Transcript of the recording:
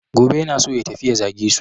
Gobe yana so ya tafi ya zage su.